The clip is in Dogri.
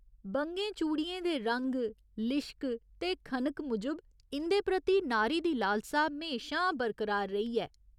बंगें चूड़ियें दे रंग, लिशक ते खनक मूजब इं'दे प्रति नारी दी लालसा म्हेशां बरकरार रेही ऐ।